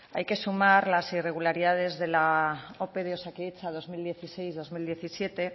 hay que sumar las irregularidades de la ope de osakidetza dos mil dieciséis dos mil diecisiete